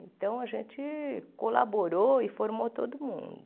Então, a gente colaborou e formou todo mundo.